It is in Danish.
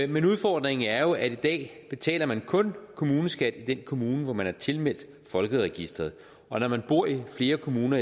men udfordringen er jo at i dag betaler man kun kommuneskat i den kommune hvor man er tilmeldt folkeregisteret og når man bor i flere kommuner